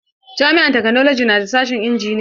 Jami'ar taknolaji na da sashen injiniya.